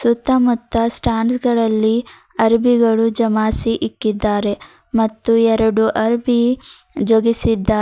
ಸುತ್ತಮುತ್ತ ಸ್ಟ್ಯಾಂಡ್ಸ್ ಗಳಲ್ಲಿ ಅರ್ಬಿಗಳು ಜಮಾಸಿ ಇಕ್ಕಿದ್ದಾರೆ ಮತ್ತು ಎರಡು ಅರ್ಬಿ ಜೊಗಿಸಿದ್ದಾರೆ.